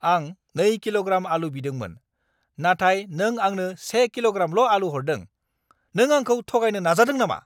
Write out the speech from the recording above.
आं 2 किल'ग्राम आलु बिदोंमोन, नाथाय नों आंनो से किल'ग्रामल' आलु हरदों। नों आंखौ थगायनो नाजादों नामा?